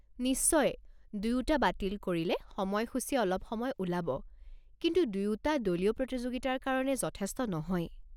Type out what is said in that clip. নিশ্চয়, দুয়োটা বাতিল কৰিলে সময়সূচী অলপ সময় ওলাব, কিন্তু দুয়োটা দলীয় প্ৰতিযোগিতাৰ কাৰণে যথেষ্ট নহয়।